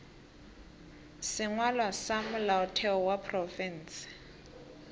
sengwalwa sa molaotheo wa profense